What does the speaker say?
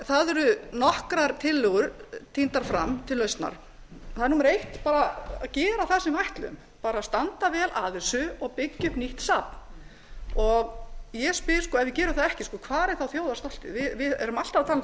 það eru nokkrar tillögur tíndar fram til lausnar það er númer eitt bara að gera á sem við ætluðum bara standa vel að þessu og byggja upp nýtt safn ég spyr ef við gerum það ekki hvar er þjóðarstoltið við erum alltaf að tala um hvað náttúran